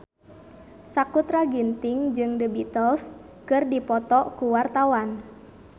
Sakutra Ginting jeung The Beatles keur dipoto ku wartawan